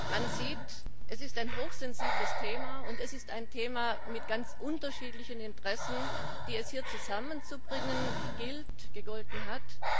Man sieht, es ist ein hochsensibles Thema und es ist ein Thema mit ganz unterschiedlichen Interessen, die es hier zusammenzubringen gegolten hat.